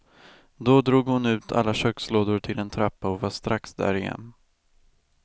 Då drog hon ut alla kökslådor till en trappa och var strax där igen.